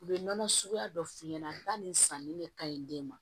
U bɛ nɔnɔ suguya dɔ f'i ɲɛna ba nin sanni de ka ɲi den ma